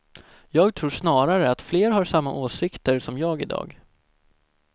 Jag tror snarare att fler har samma åsikter som jag i dag.